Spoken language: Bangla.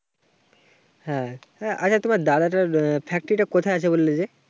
হ্যাঁ, আচ্ছা তোমার দাদাটার factory টা কোথায় আছে? বললে যে